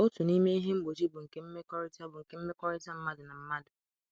Otu n’ime ihe mgbochi bụ nke mmekọrịta bụ nke mmekọrịta mmadụ na mmadụ.